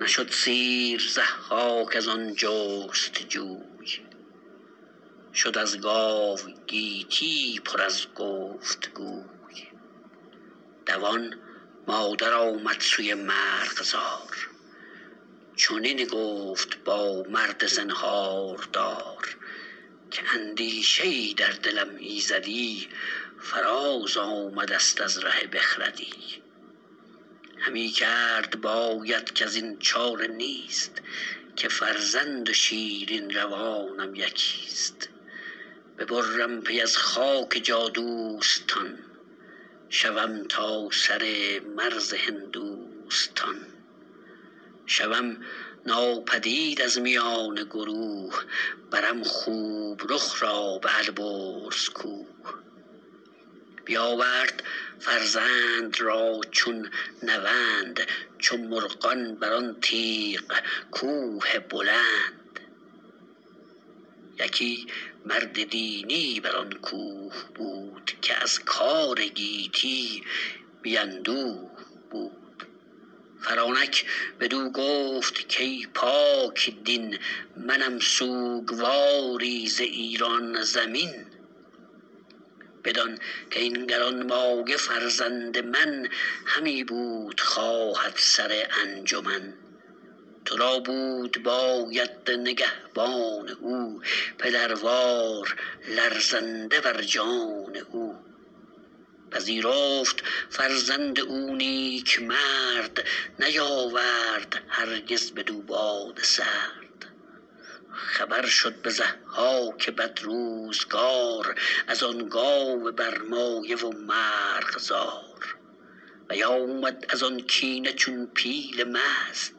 نشد سیر ضحاک از آن جست جوی شد از گاو گیتی پر از گفت گوی دوان مادر آمد سوی مرغزار چنین گفت با مرد زنهاردار که اندیشه ای در دلم ایزدی فراز آمده ست از ره بخردی همی کرد باید کزین چاره نیست که فرزند و شیرین روانم یکیست ببرم پی از خاک جادوستان شوم تا سر مرز هندوستان شوم ناپدید از میان گروه برم خوب رخ را به البرز کوه بیاورد فرزند را چون نوند چو مرغان بر آن تیغ کوه بلند یکی مرد دینی بر آن کوه بود که از کار گیتی بی اندوه بود فرانک بدو گفت کای پاکدین منم سوگواری ز ایران زمین بدان کاین گرانمایه فرزند من همی بود خواهد سر انجمن تو را بود باید نگهبان او پدروار لرزنده بر جان او پذیرفت فرزند او نیکمرد نیاورد هرگز بدو باد سرد خبر شد به ضحاک بدروزگار از آن گاو برمایه و مرغزار بیامد از آن کینه چون پیل مست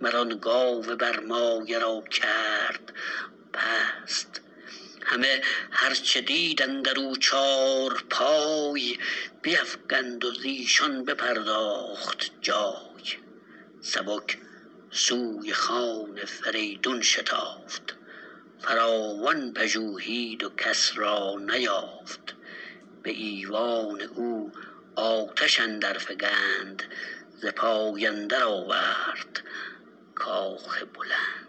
مر آن گاو برمایه را کرد پست همه هر چه دید اندر او چارپای بیفگند و زیشان بپرداخت جای سبک سوی خان فریدون شتافت فراوان پژوهید و کس را نیافت به ایوان او آتش اندر فگند ز پای اندر آورد کاخ بلند